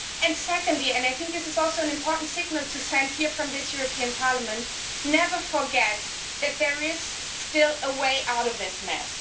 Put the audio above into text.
And secondly and this is also an important signal to send here from this European Parliament never forget that there is still a way out of this mess.